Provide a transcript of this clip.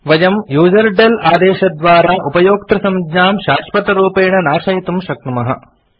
वयम् यूजरडेल आदेशद्वारा उपयोक्तृसंज्ञां शाश्वतरूपेण नाशयितुं शक्नुमः